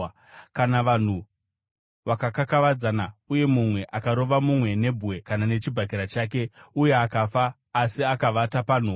“Kana vanhu vakakakavadzana uye mumwe akarova mumwe nebwe kana nechibhakera chake uye akasafa asi akavata panhoo,